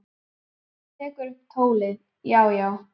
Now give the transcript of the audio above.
Hann tekur upp tólið: Já, já.